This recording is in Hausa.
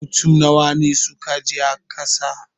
Mutane nawa ne suka je a ƙasa?